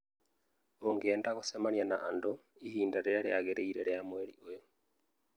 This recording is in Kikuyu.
Ũngĩenda gũcemania na andũ ihinda rĩrĩa rĩagĩrĩire rĩa mweri ũyũ